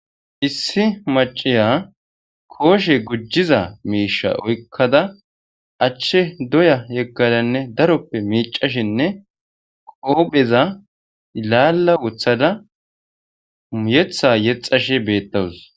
issi maciya kooshe gujiza miisha oykkada achche doya yeggadanne daroppe miicashinne qoopheza laalla wothada uuyetha yexashe beettawus